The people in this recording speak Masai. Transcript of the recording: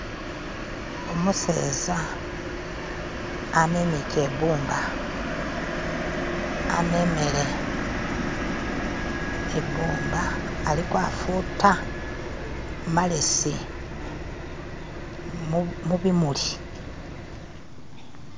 Umuseza amemiche ibbumba amemele ibbumba aliko futa malesi mubimuli